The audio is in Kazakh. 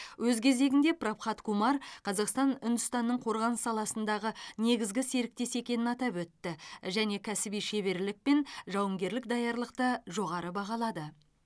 өз кезегінде прабхат кумар қазақстан үндістанның қорғаныс саласындағы негізгі серіктесі екенін атап өтті және кәсіби шеберлік пен жауынгерлік даярлықты жоғары бағалады